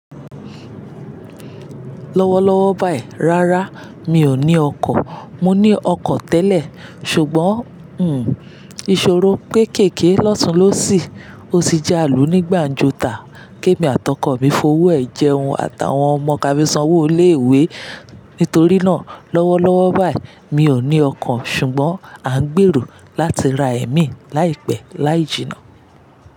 Lọ́wọ́lọ́wọ́ báyìí, rárá mi ò ní ọkọ̀. Mo ní ọkọ̀ tẹ́lẹ̀, ṣùgbọ́n, hmm, ìṣòro kékeké lọ́tùn lo sì. Ó ti jẹ́ àlù ní gbàǹjo tàá. Kẹ́mi àti ọkọ̀ mi fowó ẹ̀ jẹun, àtàwọn ọmọ ká mi sanwó ilé ìwé. Nítorí náà, lọ́wọ́lọ́wọ́ báyìí mi ò ní ọkọ̀ ṣùgbọ́n à ń gbèrò láti ra ẹ̀mí láìpẹ́ láì jìnnà.